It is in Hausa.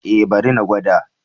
Eh bari na gwada.